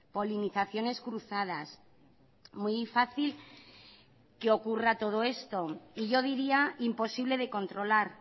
polinizaciones cruzadas muy fácil que ocurra todo esto y yo diría imposible de controlar